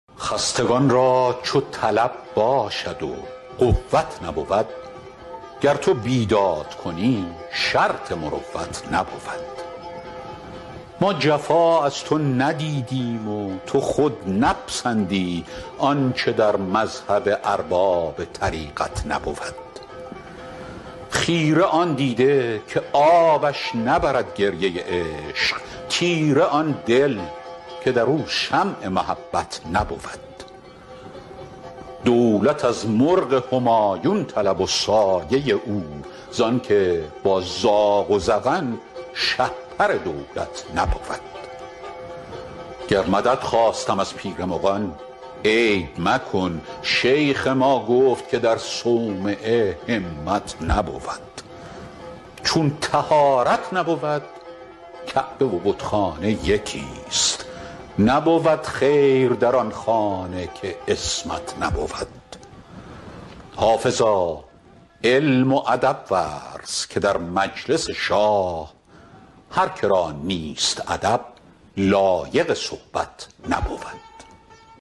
خستگان را چو طلب باشد و قوت نبود گر تو بیداد کنی شرط مروت نبود ما جفا از تو ندیدیم و تو خود نپسندی آنچه در مذهب ارباب طریقت نبود خیره آن دیده که آبش نبرد گریه عشق تیره آن دل که در او شمع محبت نبود دولت از مرغ همایون طلب و سایه او زان که با زاغ و زغن شهپر دولت نبود گر مدد خواستم از پیر مغان عیب مکن شیخ ما گفت که در صومعه همت نبود چون طهارت نبود کعبه و بتخانه یکیست نبود خیر در آن خانه که عصمت نبود حافظا علم و ادب ورز که در مجلس شاه هر که را نیست ادب لایق صحبت نبود